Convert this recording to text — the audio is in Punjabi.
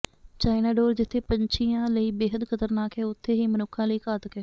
ਚਾਈਨਾ ਡੋਰ ਜਿੱਥੇ ਪੰਛੀਆਂ ਲਈ ਬੇਹੱਦ ਖ਼ਤਰਨਾਕ ਹੈ ਉੱਥੇ ਹੀ ਮਨੁੱਖਾਂ ਲਈ ਘਾਤਕ ਹੈ